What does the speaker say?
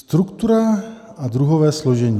Struktura a druhové složení.